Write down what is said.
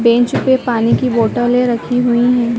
Bench पे पानी की बोटले रखी हुई हैं।